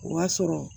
O y'a sɔrɔ